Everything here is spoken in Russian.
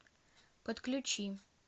подключи